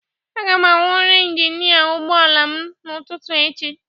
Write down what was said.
Aga m awọmụ injin ụgbọ ala m n'ụtụtụ echi